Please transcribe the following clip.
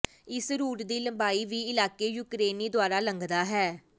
ਇਸ ਰੂਟ ਦੀ ਲੰਬਾਈ ਵੀ ਇਲਾਕੇ ਯੂਕਰੇਨੀ ਦੁਆਰਾ ਲੰਘਦਾ ਹੈ